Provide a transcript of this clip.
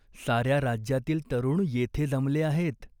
"साऱ्या राज्यातील तरुण येथे जमले आहेत.